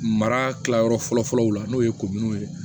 Mara yɔrɔ fɔlɔ fɔlɔ la n'o ye ye